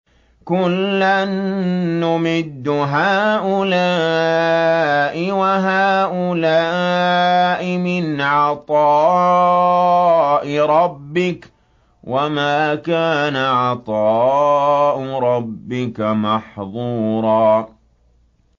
كُلًّا نُّمِدُّ هَٰؤُلَاءِ وَهَٰؤُلَاءِ مِنْ عَطَاءِ رَبِّكَ ۚ وَمَا كَانَ عَطَاءُ رَبِّكَ مَحْظُورًا